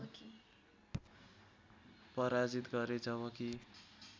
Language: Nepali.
पराजित गरे जबकि